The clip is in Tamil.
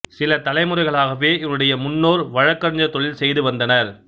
சில தலைமுறைகளாகவே இவருடைய முன்னோர் வழக்கறிஞர் தொழில் செய்து வந்தனர்